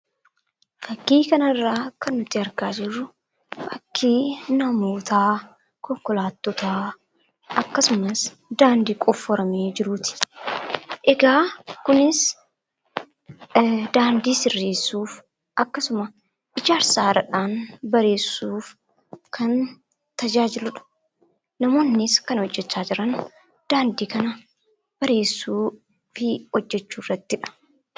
Fakkii kanarraa kan nuti arginu fakkii namootaa , konkolaattotaa akkasumas daandii qofforamee jiruuti. Egaa kunis daandii sirreessuuf akkasuma ijaarsa haaraadhaan bareechuuf kan tajaajiludha. Namoonnis kan hojjacha jiran daandii kana bareechuu fi hojjachuu irrattidha.